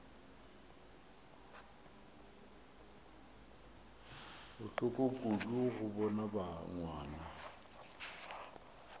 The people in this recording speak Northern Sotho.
bohloko kudu go bona ngwana